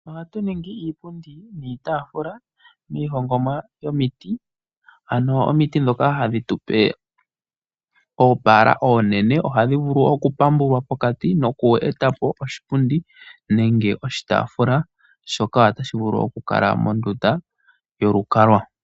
Oha tu ningi iipundi niitafula miihongomwa yomiti ano omiti ndhoka hadhi tupe oopala oonene ohadhi vulu okupambulwa pokati nokweeta po oshipundi nenge oshitafula shoka tashi vulu okukala mondunda yolukalwa.